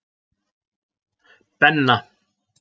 Benna